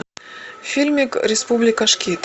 фильмик республика шкид